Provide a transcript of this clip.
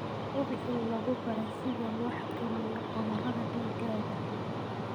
Hubi in lagu baray sida loo xakameeyo cudurrada digaagga.